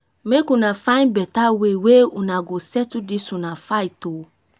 make una find beta way wey una go settle dis una fight o.